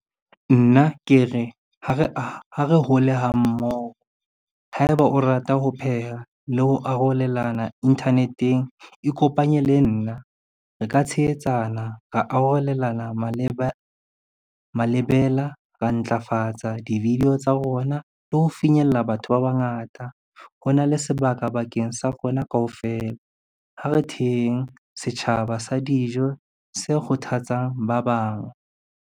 Nna ke re, ha re hole ha mmoho, haeba o rata ho pheha le ho arolelana internet-eng, ikopanye le nna. Re ka tshehetsana, ra arolelana malebela, ra ntlafatsa di-video tsa rona le ho finyella batho ba bangata. Ho na le sebaka bakeng sa rona kaofela, ha re theheng setjhaba sa dijo se kgothatsang ba bang.